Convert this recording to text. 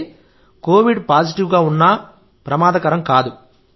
అంటే covid positive ఉన్నా ప్రమాదకరం కాదు